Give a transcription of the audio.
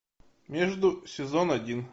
между сезон один